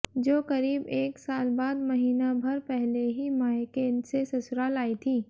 जो करीब एक साल बाद महीना भर पहले ही मायके से ससुराल आई थी